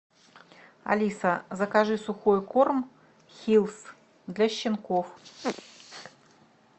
алиса закажи сухой корм хиллс для щенков